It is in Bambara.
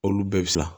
Olu bɛɛ bɛ sa